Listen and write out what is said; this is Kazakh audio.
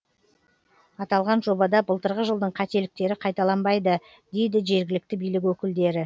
аталған жобада былтырғы жылдың қателіктері қайталанбайды дейді жергілікті билік өкілдері